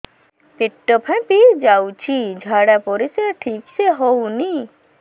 ପେଟ ଫାମ୍ପି ଯାଉଛି ଝାଡ଼ା ପରିସ୍ରା ଠିକ ସେ ହଉନି